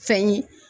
Fɛn ye